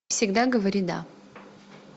всегда говори да